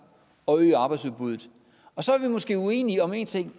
og øge arbejdsudbuddet så er vi måske uenige om en ting